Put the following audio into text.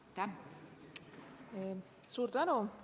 Suur tänu!